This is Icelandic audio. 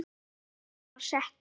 Tónninn var settur.